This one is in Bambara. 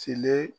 Sele